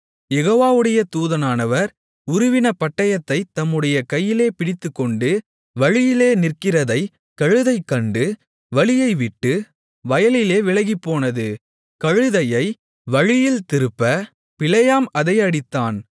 யெகோவாவுடைய தூதனானவர் உருவின பட்டயத்தைத் தம்முடைய கையிலே பிடித்துக்கொண்டு வழியிலே நிற்கிறதைக் கழுதை கண்டு வழியை விட்டு வயலிலே விலகிப்போனது கழுதையை வழியில் திருப்ப பிலேயாம் அதை அடித்தான்